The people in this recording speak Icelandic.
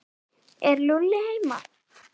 Er Lúlli heima?